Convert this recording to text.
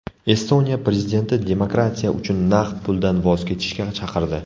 Estoniya prezidenti demokratiya uchun naqd puldan voz kechishga chaqirdi .